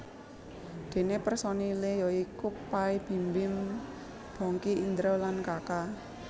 Déné personilé ya iku Pay Bimbim Bongky Indra lan Kaka